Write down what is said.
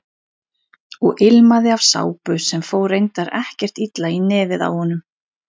Og ilmaði af sápu sem fór reyndar ekkert illa í nefið á honum.